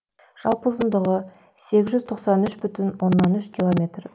жалпы ұзындығы сегіз жүз тоқсан үш бүтін оннан үш километр